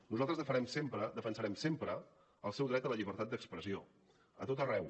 nosaltres defensarem sempre el seu dret a la llibertat d’expressió a tot arreu